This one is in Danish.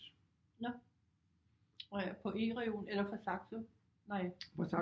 Nå på E-reolen eller fra Saxo nej